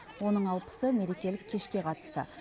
оның алпысы мерекелік кешке қатысты